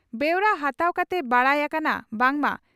ᱵᱮᱣᱨᱟ ᱦᱟᱛᱟᱣ ᱠᱟᱛᱮ ᱵᱟᱰᱟᱭ ᱟᱠᱟᱱᱟ ᱵᱟᱝ ᱢᱟ